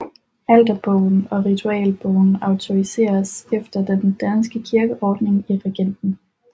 Alterbogen og ritualbogen autoriseres efter den danske kirkeordning af regenten